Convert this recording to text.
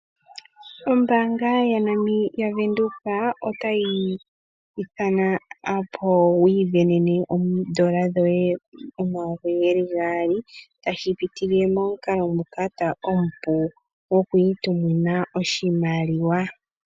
Ombaanga ya Windhoek otayi ku ithana opo wi ivenene oondola dhoye omayovi geli gaali tashipitile momukalo nguka omupu gwoku itumina oshimaliwa